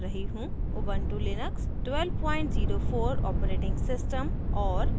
Ubuntu Linux 1204 operating system और